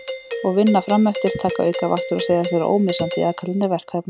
Og vinna fram eftir, taka aukavaktir og segjast vera ómissandi í aðkallandi verkefnum.